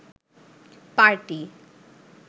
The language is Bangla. পার্টি